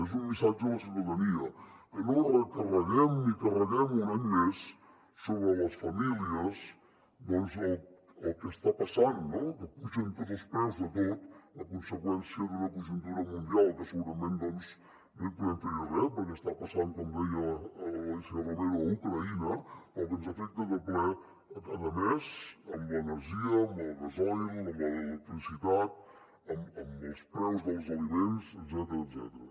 és un missatge a la ciutadania que no recarreguem i carreguem un any més sobre les famílies el que està passant que pugen tots els preus de tot a conseqüència d’una conjuntura mundial que segurament no hi podem fer res perquè està passant com deia l’alícia romero a ucraïna però que ens afecta de ple cada mes amb l’energia amb el gasoil amb l’electricitat amb els preus dels aliments etcètera